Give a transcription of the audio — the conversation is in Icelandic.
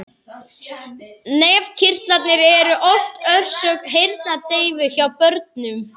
Nefkirtlar eru oft orsök heyrnardeyfu hjá börnum.